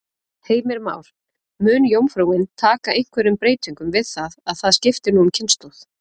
Heimir Már: Mun jómfrúin taka einhverjum breytingum við það að það skipti nú um kynslóð?